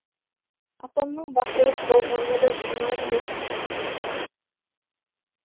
апамның бақилық болғанына да жиырма күн өтіп кетіпті